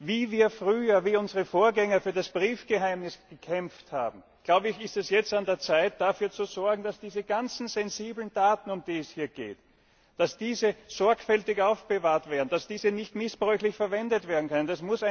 Wie früher, als unsere Vorgänger für das Briefgeheimnis gekämpft haben, ist es jetzt an der Zeit, dafür zu sorgen, ganzen sensiblen Daten, um die es hier geht, dass diese sorgfältig aufbewahrt werden, dass diese nicht missbräuchlich verwendet werden können.